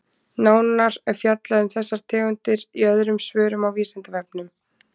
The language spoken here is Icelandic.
Nánar er fjallað um þessar tegundir í öðrum svörum á Vísindavefnum.